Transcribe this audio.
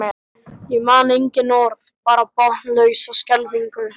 Ég man engin orð, bara botnlausa skelfingu.